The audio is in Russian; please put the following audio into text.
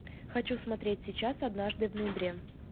хочу смотреть сейчас однажды в ноябре